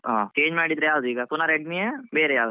ಹಾ change ಮಾಡಿದ್ರೆ ಯಾವ್ದು, ಈಗ ಪುನಃ Redmi ನಾ? ಬೇರೆಯಾವದಾದ್ರು?